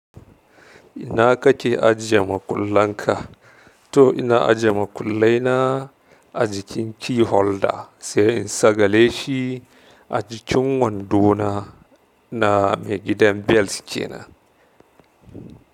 Ina kake ajiye makullan ka? To ina ajiye makullai na a jikin key holder sai in sagale shi a jikin wando na na me gidan belt ke nan.